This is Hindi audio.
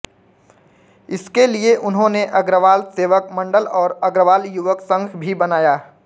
इसके लिये उन्होने अग्रवाल सेवक मण्डल और अग्रवाल युवक संघ भी बनाया